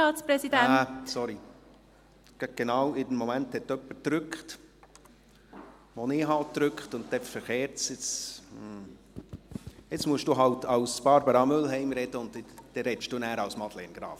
Entschuldigen Sie, genau in diesem Moment hat jemand gedrückt, als ich auch drückte, und es kam auf dem Bildschirm zu einem Wechsel in der Reihenfolge der Sprechenden.